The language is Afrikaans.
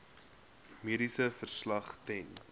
mediese verslag ten